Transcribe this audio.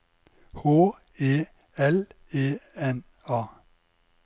H E L E N A